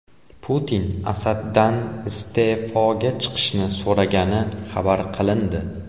Putin Asaddan iste’foga chiqishni so‘ragani xabar qilindi.